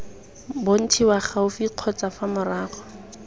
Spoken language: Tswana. bontshiwa gaufi kgotsa fa morago